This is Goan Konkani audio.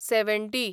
सॅवॅण्टी